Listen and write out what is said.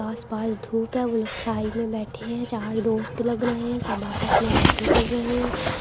आसपास धूप है। वो लोग छाये में बैठे हैं। चार दोस्त लग रहे हैं। सब आपस में बातें कर रहे हैं।